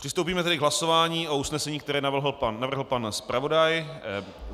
Přistoupíme tedy k hlasování o usnesení, které navrhl pan zpravodaj.